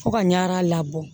Fo ka ɲaa labɔ